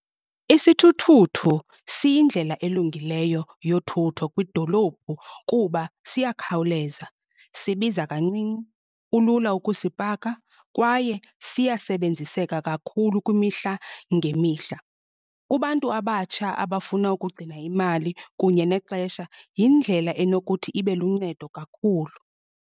Isithuthuthu siyindlela elungileyo yothutho kwidolophu. Kuba siyakhawuleza, sibiza kancinci, kulula ukusipaka kwaye siyasebenziseka kakhulu kwimihla ngemihla. Kubantu abatsha abafuna ukugcina imali kunye nexesha yindlela enokuthi ibe luncedo kakhulu.